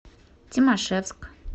тимашевск